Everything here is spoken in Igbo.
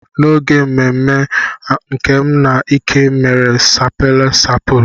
N'oge mmemme a, Nkem na Ike mere sapala sampul.